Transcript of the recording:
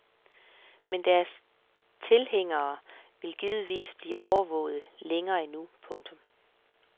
Men deres tilhængere vil givetvis blive overvåget længe endnu. punktum